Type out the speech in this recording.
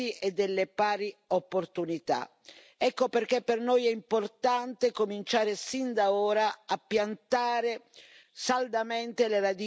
Ecco perché per noi è importante cominciare sin da ora a piantare saldamente le radici per una tassonomia sociale.